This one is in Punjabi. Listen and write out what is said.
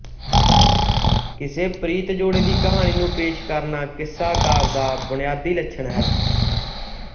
ਕਿਸੇ ਪ੍ਰੀਤਜੋੜੇ ਦੀ ਕਹਾਣੀ ਨੂੰ ਪੇਸ਼ ਕਰਨਾ ਕਿੱਸਾਕਾਵਿ ਦਾ ਬੁਨਿਆਦੀ ਲੱਛਣ ਹੈ